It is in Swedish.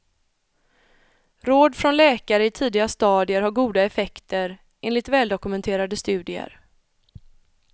Råd från läkare i tidiga stadier har goda effekter, enligt väldokumenterade studier.